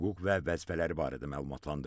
Hüquq və vəzifələri barədə məlumatlandırdı.